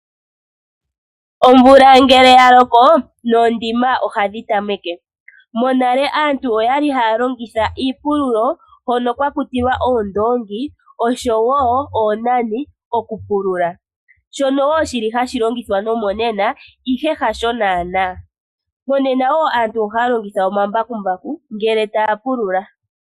Omvula ngele ya loko, noondima ohadhi tameke. Monale aantu oyali haya longitha iipululo hono kwa kutilwa oondoongi osho wo oonani okupulula, shono wo shili hashi longithwa nomonena ihe hasho naana. Monena wo aantu ohaya longitha omambakumbaku ngele taya pulula.